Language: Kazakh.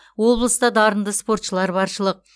облыста дарынды спортшылар баршылық